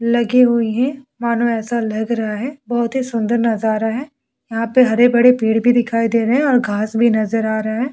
लगे हुए है मानो ऐसा लग रहा है बहुत ही सुंदर नजारा है यहाँ पर हरे-भरे पेड़ भी दिखाई दे रहे हैं और घास भी नजर आ रहा है ।